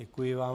Děkuji vám.